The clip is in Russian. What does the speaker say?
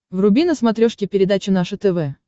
вруби на смотрешке передачу наше тв